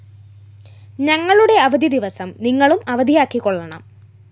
ഞങ്ങളുടെ അവധിദിവസം നിങ്ങളും അവധിയാക്കിക്കൊള്ളണം